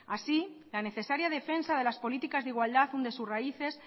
así la necesaria defensa de las políticas de igualdad hunde sus raíces